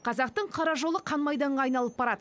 қазақтың қара жолы қан майданға айналып барады